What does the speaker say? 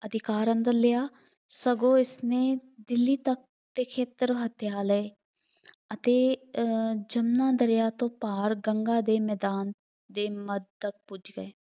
ਅਧਿਕਾਰ ਅੰਦਰ ਲਿਆ। ਸਗੋਂ ਇਸਨੇ ਦਿੱਲੀ ਤੱਕ ਦੇ ਖੇਤਰ ਹੱਥਿਆ ਲਏ ਅਤੇ ਅਹ ਜੰਮੂ ਦਰਿਆਂ ਤੋਂ ਪਾਰ ਗੰਗਾ ਦੇ ਮੈਦਾਨ ਦੇ ਮੱਧ ਤੱਕ ਪੁੱਜ ਗਏ।